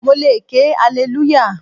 Mo le ké alelúyà.